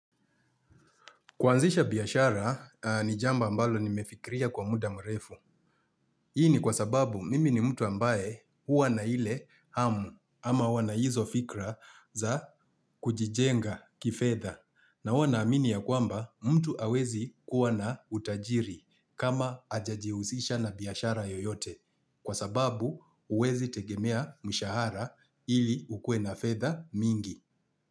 Kuanzisha biashara, ni jambo ambalo nimefikiria kwa muda mrefu. Hii ni kwa sababu mimi ni mtu ambaye huwa na ile hamu ama huwa na hizo fikra za kujijenga kifedha. Na huwa naamini ya kwamba mtu hawezi kuwa na utajiri kama hajaji husisha na biashara yoyote. Kwa sababu huwezi tegemea mshahara ili ukue na fedha mingi.